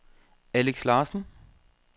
Alex Larsen